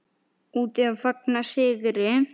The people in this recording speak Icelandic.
Úti að fagna sigri.